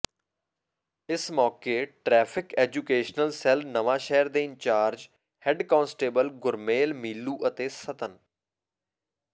ਇਸ ਮੌਕੇ traffic education cell Nawanshahr ਦੇ incharge head constable Gurmel Milu ਅਤੇ ਸਤਨ